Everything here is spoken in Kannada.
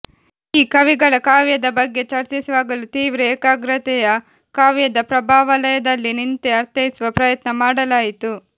ಈ ಕವಿಗಳ ಕಾವ್ಯದ ಬಗ್ಗೆ ಚರ್ಚಿಸುವಾಗಲೂ ತೀವ್ರ ಏಕಾಗ್ರತೆಯ ಕಾವ್ಯದ ಪ್ರಭಾವಲಯದಲ್ಲಿ ನಿಂತೇ ಅರ್ಥೈಸುವ ಪ್ರಯತ್ನ ಮಾಡಲಾಯಿತು